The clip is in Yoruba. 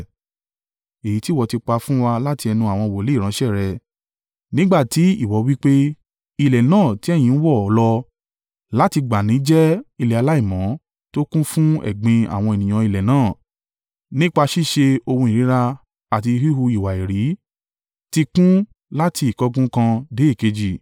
èyí tí ìwọ ti pa fún wa láti ẹnu àwọn wòlíì ìránṣẹ́ rẹ, nígbà ti ìwọ wí pé, ‘Ilẹ̀ náà ti ẹ̀yin ń wọ̀ lọ láti gbà n nì jẹ́ ilẹ̀ aláìmọ́ tó kún fún ẹ̀gbin àwọn ènìyàn ilẹ̀ náà, nípa ṣíṣe ohun ìríra àti híhu ìwà èérí ti kún ún láti ìkángun kan dé èkejì.